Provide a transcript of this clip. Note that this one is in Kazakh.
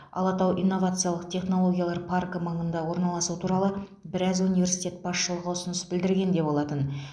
алатау инновациялық технологиялар паркі маңына орналасу туралы біраз университет басшылығы ұсыныс білдірген де болатын